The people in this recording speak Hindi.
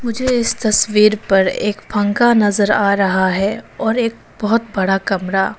मुझे इस तस्वीर पर एक पंखा नजर आ रहा है और एक बहुत बड़ा कमरा--